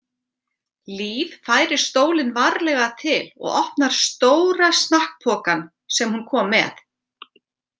Líf færir stólinn varlega til og opnar stóra snakkpokann sem hún kom með.